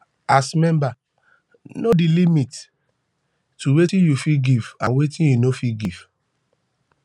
as member know di limit to wetin you fit give and wetin you no fit give